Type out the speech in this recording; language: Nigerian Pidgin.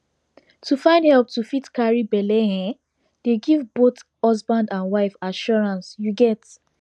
to find help to fit carry belle ehnn dey give both husband and wife assurance you get